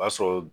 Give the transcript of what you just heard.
O y'a sɔrɔ